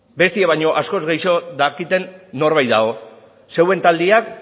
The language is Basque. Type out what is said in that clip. bestiok baino askoz gehiago dakiten norbait dago zeuen taldeak